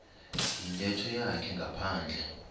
yintetho yakhe ngaphandle